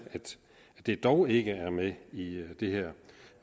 at det dog ikke er med i det her